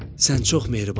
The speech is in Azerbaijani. sən çox mehribansan.